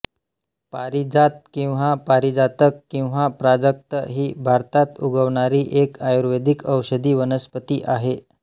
पारिजात किंवा पारिजातक किंवा प्राजक्त ही भारतात उगवणारी एक आयुर्वेदिक औषधी वनस्पती आहे